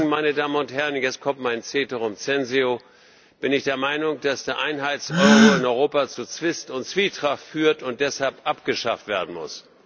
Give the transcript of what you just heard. Im Übrigen, meine Damen und Herren, jetzt kommt mein ceterum censeo, bin ich der Meinung, dass der Einheits Euro in Europa zu Zwist und Zwietracht führt und deshalb abgeschafft werden muss.